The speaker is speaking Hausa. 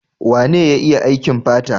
Wane ya iya aikin fata?